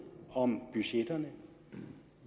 om budgetterne